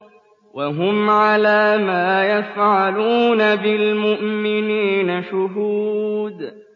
وَهُمْ عَلَىٰ مَا يَفْعَلُونَ بِالْمُؤْمِنِينَ شُهُودٌ